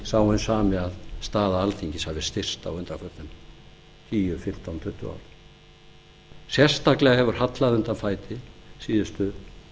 hinn sami að staða alþingis hafi styrkst á undanförnum tíu fimmtán eða tuttugu árum sérstaklega hefur hallað undan fæti síðustu